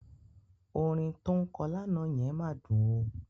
Orin tó ń kọ lánàá yẹn máa dùn ó.